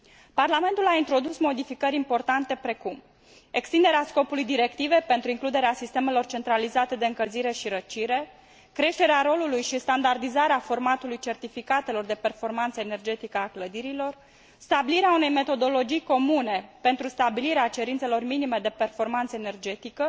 Parlamentul a introdus modificări importante precum extinderea scopului directivei pentru includerea sistemelor centralizate de încălzire și răcire, creșterea rolului și standardizarea formatului certificatelor de performanță energetică a clădirilor, stabilirea unei metodologii comune pentru stabilirea cerințelor minime de performanță energetică,